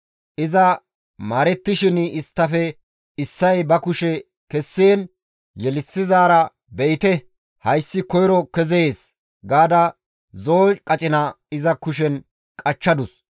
Iza maarettishin isttafe issay ba kushe kessiin yelissizaara, «Be7ite; hayssi koyro kezees» gaada zo7o qacina iza kushen qachchadus.